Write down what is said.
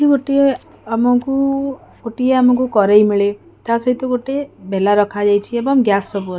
ଗୋଟିଏ ଆମକୁ ଗୋଟିଏ ଆମକୁ କରେଇ ମିଳେ ତାସହିତ ଗୋଟେ ବେଲା ରଖାଯାଇଛି ଏବଂ ଗ୍ୟାସ ସବୁ ଅଛି।